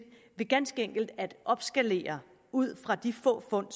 ved ganske enkelt at opskalere ud fra de få fund